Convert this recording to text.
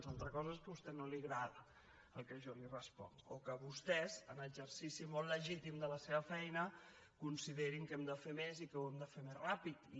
una altra cosa és que a vostè no li agradi el que jo li responc o que vostès en exercici molt legítim de la seva feina considerin que hem de fer més i que ho hem de fer més ràpidament